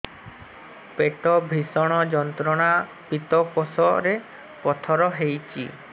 ପେଟ ଭୀଷଣ ଯନ୍ତ୍ରଣା ପିତକୋଷ ରେ ପଥର ହେଇଚି